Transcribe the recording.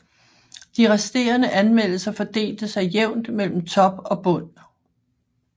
De resterende anmeldelser fordelte sig jævnt mellem top og bund